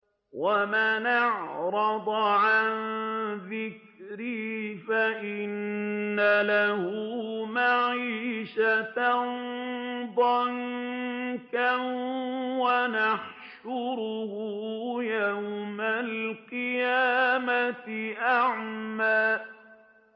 وَمَنْ أَعْرَضَ عَن ذِكْرِي فَإِنَّ لَهُ مَعِيشَةً ضَنكًا وَنَحْشُرُهُ يَوْمَ الْقِيَامَةِ أَعْمَىٰ